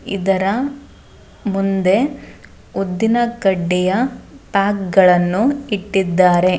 ಇದರ ಮುಂದೆ ಉದ್ದಿನಕಡ್ಡಿಯ ಪ್ಯಾಕ್ಗಳನು ಇಟ್ಟಿದಾರೆ.